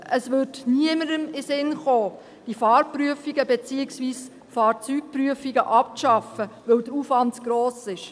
Es würde niemandem in den Sinn kommen, die Fahrprüfungen beziehungsweise die Fahrzeugprüfungen abzuschaffen, weil der Aufwand zu gross ist.